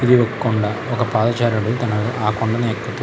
ఒక కొండా పాదచారుడు తాను ఆ కొండని ఎక్కుతూ --